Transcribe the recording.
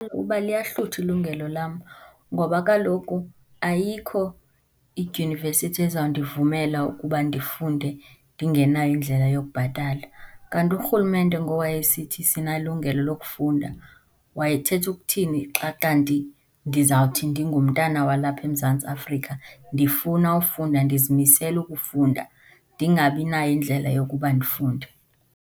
Uba liyahluthwa ilungelo lam, ngoba kaloku ayikho idyunivesithi ezawundivumela ukuba ndifunde ndingenayo indlela yokubhatala. Kanti urhulumente ngowayesithi sinalungelo lokufunda wayethetha ukuthini xa kanti ndizawuthi ndingumntana walapha eMzantsi Afrika ndifuna ufunda ndizimisele ukufunda ndingabinayo indlela yokuba ndifunde?